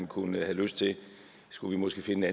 kunne have lyst til skulle vi måske finde